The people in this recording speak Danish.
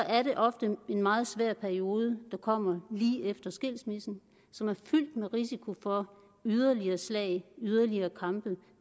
er det ofte en meget svært periode der kommer lige efter skilsmissen som er fyldt med risiko for yderligere slag yderligere kampe og